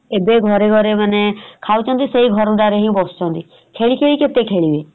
ଏବେ ଘରେ ଘରେ ମାନେ ଖାଉଛନ୍ତି ସେଇ ଘର ଦ୍ଵାରେ ହିଁ ବସୁଚନ୍ତି ଖେଳି ଖେଳି କେତେ ଖେଳିବେ ?